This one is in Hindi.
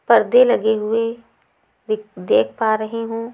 पर्दे लगे हुए दिख देख पा रही हूं।